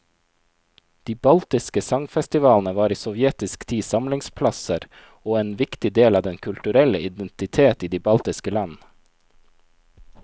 De baltiske sangfestivalene var i sovjetisk tid samlingsplasser og en viktig del av den kulturelle identitet i de baltiske land.